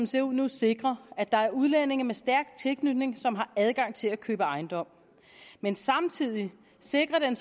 ser ud nu sikrer at der er udlændinge med stærk tilknytning som har adgang til at købe ejendomme men samtidig sikrer